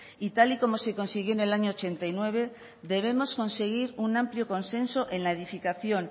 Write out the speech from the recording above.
y tal y como se consiguió en el año mil novecientos ochenta y nueve debemos conseguir un amplio consenso en la edificación